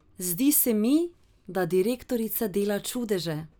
Zdi se mi, da direktorica dela čudeže.